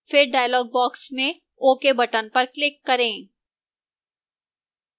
फिर dialog box में ok button पर click करें